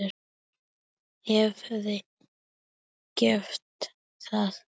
Hefði getað.